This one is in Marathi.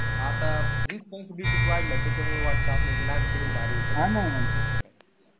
आता responsibilities वाढल्या त्याच्यामुळ वाटत आपल्याला लहानपणच भारी होत.